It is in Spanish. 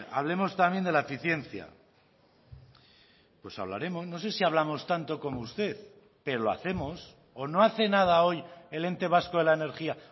hablemos también de la eficiencia pues hablaremos no sé si hablamos tanto como usted pero lo hacemos o no hace nada hoy el ente vasco de la energía